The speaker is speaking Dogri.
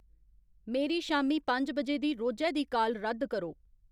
मेरी शामीं पंज बजे दी रोजै दी काल रद्द करो